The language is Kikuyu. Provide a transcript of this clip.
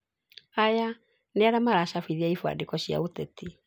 Aya nĩarĩa maracabithia ibandĩko cia ũteti